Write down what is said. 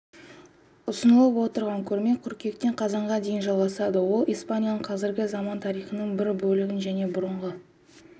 ұсынылып отырған көрме қыркүйектен қазанға дейін жалғасады ол испанияның қазіргі заман тарихының бір бөлігін және бұрынғы